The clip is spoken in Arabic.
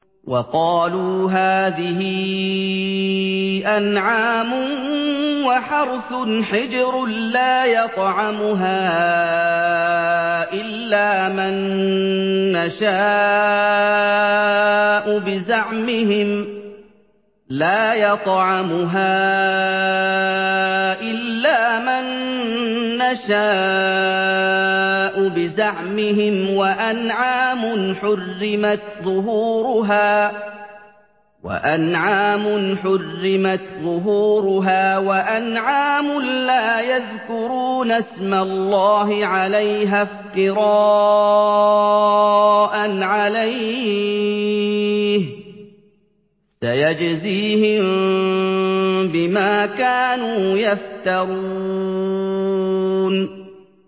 وَقَالُوا هَٰذِهِ أَنْعَامٌ وَحَرْثٌ حِجْرٌ لَّا يَطْعَمُهَا إِلَّا مَن نَّشَاءُ بِزَعْمِهِمْ وَأَنْعَامٌ حُرِّمَتْ ظُهُورُهَا وَأَنْعَامٌ لَّا يَذْكُرُونَ اسْمَ اللَّهِ عَلَيْهَا افْتِرَاءً عَلَيْهِ ۚ سَيَجْزِيهِم بِمَا كَانُوا يَفْتَرُونَ